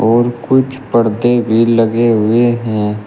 और कुछ परदे भी लगे हुए हैं।